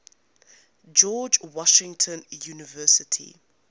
george washington university